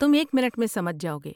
تم ایک منٹ میں سمجھ جاؤ گے۔